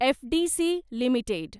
FDC limited